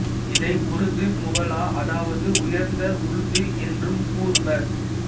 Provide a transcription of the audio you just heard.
இதை உருது முவல்லா அதாவது உயர்ந்த உருது என்றும் கூறுவர்